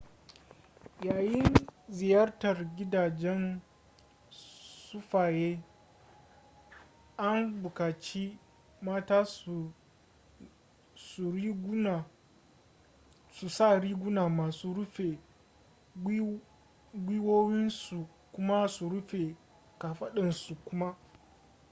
yayin ziyartar gidajen sufaye an buƙaci mata su sa riguna masu rufe gwiwowinsu kuma su rufe ƙafadunsu kuma